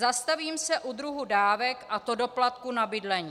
Zastavím se u druhu dávek, a to doplatku na bydlení.